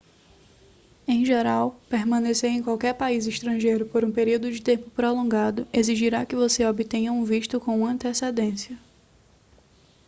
em geral permanecer em qualquer país estrangeiro por um período de tempo prolongado exigirá que você obtenha um visto com antecedência